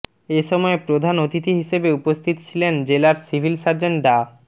এ সময় প্রধান অতিথি হিসেবে উপস্থিত ছিলেন জেলার সিভিল সার্জন ডা